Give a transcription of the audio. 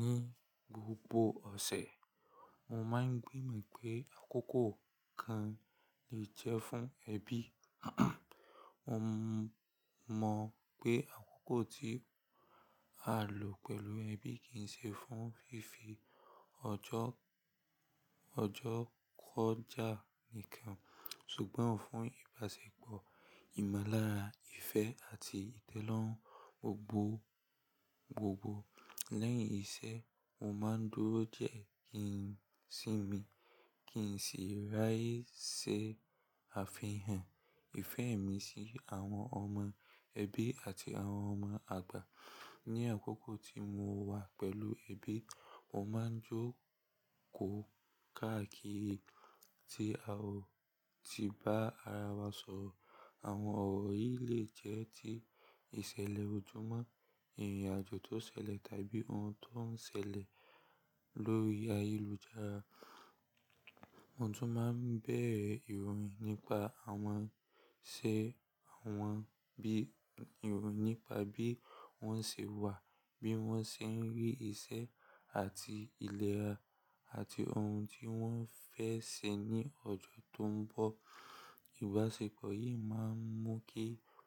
Ní gbogbo ọ̀sẹ̀, mo máa ń gbìmọ̀ pé àkókò kan lè jẹ́ fún ẹbí, mo mọ̀ pé àkókò tí a lò pẹ̀lú ẹbí kì í ṣe fún fífi ọjọ́, ọjọ́ kọjá nìkan, ṣùgbọ́n fún ìbáṣepọ̀, ìmọ̀lára, ìfẹ́ àti ìtẹ́lọ́rùn gbogbo gbogbo. Lẹ́yìn iṣẹ́, mo máa ń dúró diẹ́ kí n sì mí, kí n sì ráyè ṣe àfihàn ìfẹ́ mi sí àwọn ọmọ ẹbí àti àwọn ọmọ àgbà. Ni àkókò tí mo wà pẹ̀lú ẹbí, mo máa ń jókòó káàkiri tí a ò ti ba ara wa sọ̀rọ̀. Àwọn ọ̀rọ̀ yìí lè jẹ́ ti ìṣẹ̀lẹ̀ ojúmọ́, ìrìnàjò tó ṣẹlẹ̀ tàbí ohun tó ń ṣẹlẹ̀ lórí ayélujára. Mo tún máa ń bẹ̀ ìròyìn nípa àwọn ṣé àwọn bí, ìròyìn nípa bí wọ́n ṣe wà, bí wọ́n ṣe ń rí iṣẹ́ àti ilẹ̀ra àti ohun tí wọ́n fẹ́ ṣe ní ọjọ́ tó ń bọ̀. Ìbáṣepọ̀ yìí máa ń mú kí